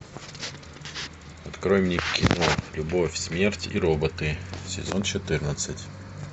открой мне кино любовь смерть и роботы сезон четырнадцать